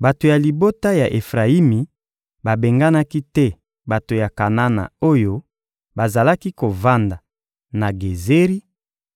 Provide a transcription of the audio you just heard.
Bato ya libota ya Efrayimi babenganaki te bato ya Kanana oyo bazalaki kovanda na Gezeri,